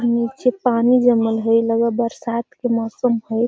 नीचे पानी जमल हई लगा हई बरसात के मौसम हई |